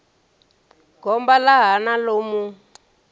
goba ḽa hana ḽo mu